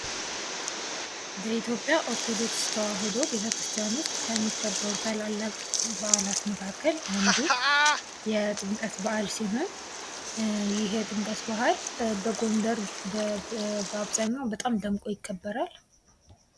በኢትዮጵያ ኦርቶዶክስ ተዋሕዶ ቤተ ክርስቲያን ውስጥ ከሚከበሩ ታላላቅ በዓላት መካከል አንዱ የጥምቀት ባህል ሲሆን፤ ይሄ የጥምቀት በአል በጎንደር በአብዛኛው በጣም ደምቆ ይከበራል።